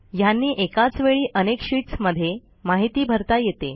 ह्यांनी एकाच वेळी अनेक शीटस् मध्ये माहिती भरता येते